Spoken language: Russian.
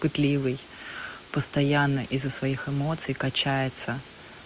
пытливый постоянно из-за своих эмоций качается